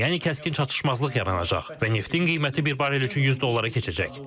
Yəni kəskin çatışmazlıq yaranacaq və neftin qiyməti bir barrel üçün 100 dollara keçəcək.